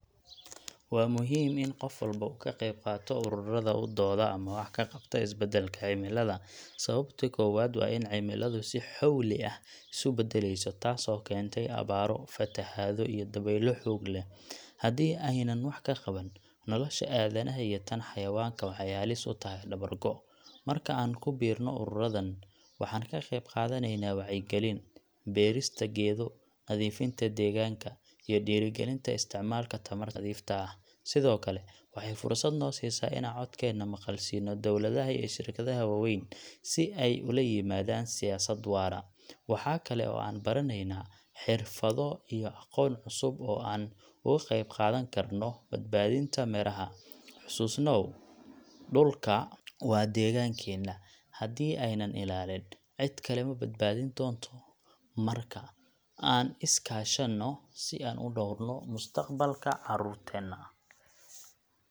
Wa muxiim in gof walbo kaqebqato ururada udoda ama wax kaqabta isbadalka cimilada, sawabto kowad in cimilada si xowli ah isubadaleyso taasbo kentay abaro, fataxado, iyo daweylo xoog leh, xadi ay nan wax kaqabanin, noloshu adanaxa iyo taan xawayanka waxay halis utaxay dabar goo, marka an kubirno ururudan, waxan kaqebgadaneyna wacyi galiin, berista geedo, nadifinta deqanka, iyo dirigalinta isticmalka tamarta nafidta ah, Sidhokale waxay fursad nosisa inan codkena maqalsino dowladaxa iyo shirkadaxa waweyn, si ay ulaimadan siyasad waraa, waxa kale an baraneyna, xirfado iyo aqoon cusub oo an ogaqeb qadankarno badbadinta miraha, xususnaw, dulka wa deqankena, xadii ay na ilalinin xidkale mabad badinto marka an iskashano, sii an u dowrno mustaqbalka carurtena.